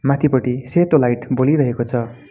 माथिपटि सेतो लाइट बलिरहेको छ।